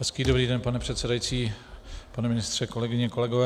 Hezký dobrý den, pane předsedající, pane ministře, kolegyně, kolegové.